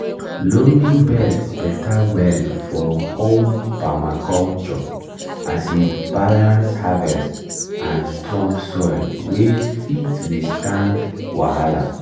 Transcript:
loamy beds beta well for home permaculture as e balance harvest and strong soil wey fit withstand wahala.